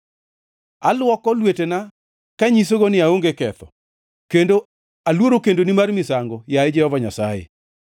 Aluoko lwetena kanyisogo ni aonge ketho, kendo aluoro kendoni mar misango, yaye Jehova Nyasaye,